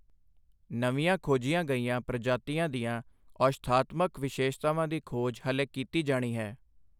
ਨਵੀਂਆਂ ਖੋਜੀਆਂ ਗਈਆਂ ਪ੍ਰਜਾਤੀਆਂ ਦੀਆਂ ਔਸ਼ਧਾਤਮਕ ਵਿਸ਼ੇਸ਼ਤਾਵਾਂ ਦੀ ਖੋਜ ਹਾਲੇ ਕੀਤੀ ਜਾਣੀ ਹੈ।